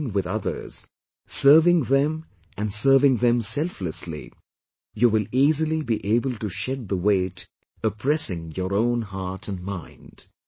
By connecting with others, serving them and serving them selflessly, you will easily be able to shed the weight oppressing your own heart and mind